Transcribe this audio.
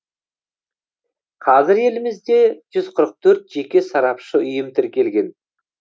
қазір елімізде жүз қырық төрт жеке сарапшы ұйым тіркелген